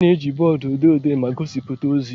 A na-eji bọọdụ odee dee ma gosipụta ozi.